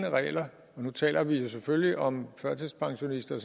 regler og nu taler vi selvfølgelig om førtidspensionister